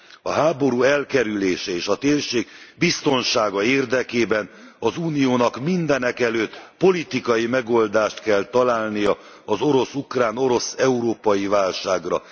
A háború elkerülése és a térség biztonsága érdekében az Uniónak mindenek előtt politikai megoldást kell találnia az orosz ukrán, orosz európai válságra.